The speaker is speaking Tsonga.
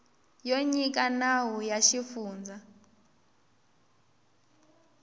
yo nyika nawu ya xifundza